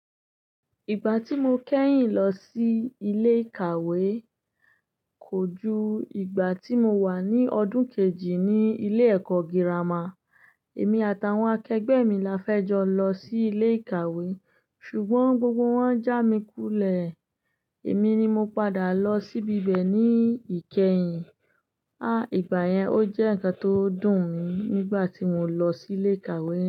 Ìgbà tí mo kẹ́yìn lọ sí ilé ìkàwé kò ju ìgbà tí mo wà ní ọdún kejì ní ilé ẹ̀kọ́ gírámà. Èmi àtàwọn akẹgbẹ́ mi la fẹ́ jọ lọ sí ilé ìkàwé ṣùgbọ́n gbogbo wọ́n já mi kulẹ̀. Èmi ni mo padà lọ síbi bẹ̀ ní ìkẹyìn. À, ìgbà yẹn ó jẹ́ ǹkan tó dùn mi nígbà tí mo lọ sí ilé ìkàwé.